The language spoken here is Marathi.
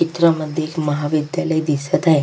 चित्रामध्ये एक महाविद्यालय दिसत आहे.